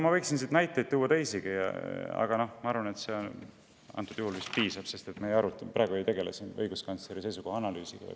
Ma võiksin siit teisigi näiteid tuua, aga sellest vist piisab, sest me ei tegele siin praegu õiguskantsleri seisukoha analüüsiga.